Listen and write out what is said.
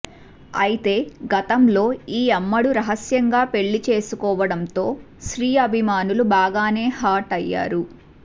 అయితే గతంలో ఈ అమ్మడు రహస్యంగా పెళ్లి చేసుకోవడంతో శ్రీ అభిమానులు బాగానే హర్ట్ అయ్యారు